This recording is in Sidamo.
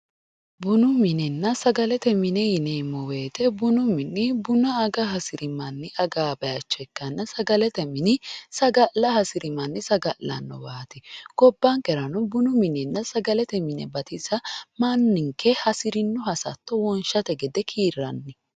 bunu minenna sagalete mine yineemmo wote bunu mini buna aga hasiri manni agaa bayiicho ikkanna sagalete mini sagale saga'la hasiri manni saga'lannowaati gobbankerano bununna sagalete mine batisa manninke hasirino hasatto wonshate gede kiirranni.